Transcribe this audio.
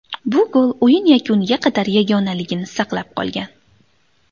Bu gol o‘yin yakuniga qadar yagonaligini saqlab qolgan.